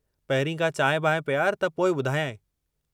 पहिरीं का चांहि-बांहि पियार त पोइ ॿुधायंइ।